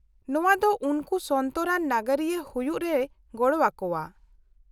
-ᱱᱚᱶᱟ ᱫᱚ ᱩᱱᱠᱩ ᱥᱚᱱᱛᱚᱨᱟᱱ ᱱᱟᱜᱟᱨᱤᱭᱟᱹ ᱦᱩᱭᱩᱜ ᱨᱮᱭ ᱜᱚᱲᱚᱣᱟᱠᱚᱣᱟ ᱾